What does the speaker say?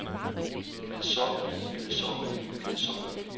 kedsommelige kedsommelige kedsommelige